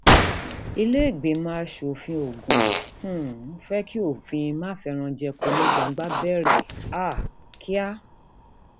ìlèégbìmọ asòfin ògún um fẹ kí òfin máfẹranjẹko ní gbangba bẹrẹ um kíá